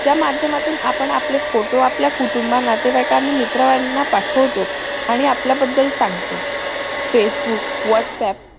त्या माध्यमातून आपण आपले photo आपल्या कुटुंबाना नातेव्यक आणि मित्रांना पाठवतो आणि आपल्या बदल सांगतो facebook whats aap